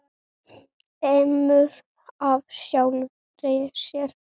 Eimur af sjálfri sér.